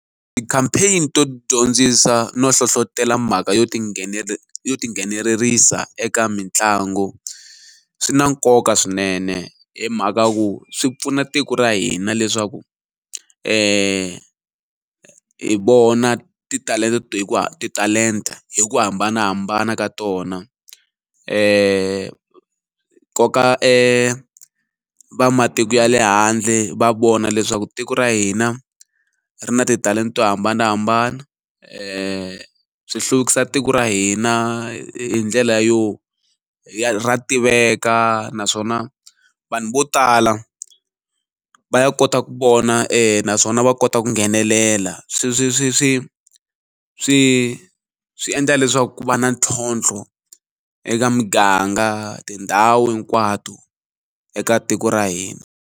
Ti-campaign to dyondzisa no hlohlotelo mhaka yo ti yo tinghenelerisa eka mitlangu swi na nkoka swinene hi mhaka ya ku swi pfuna tiko ra hina leswaku hi vona to titalenta hi ku hambanahambana ka tona hi koka va matiko ya le handle va vona leswaku tiko ra hina ri na titalenta to hambanahambana swi hluvukisa tiko ra hina hi ndlela yo ya ra tiveka naswona vanhu vo tala va ya kota ku vona naswona va kota ku nghenelela swi swi swi swi swi swi endla leswaku ku va na ntlhontlho eka muganga tindhawu hinkwato eka tiko ra hina.